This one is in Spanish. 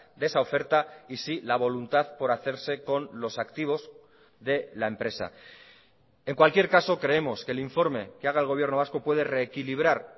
de esa oferta y sí la voluntad por hacerse con los activos de la empresa en cualquier caso creemos que el informe que haga el gobierno vasco puede reequilibrar